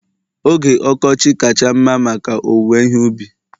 oge ọkọchị kacha mma maka owuwe ihe ubi